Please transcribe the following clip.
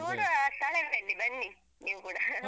ಮತ್ತೆ ನೋಡುವ. ಬನ್ನಿ, ನೀವೂ ಕೂಡ .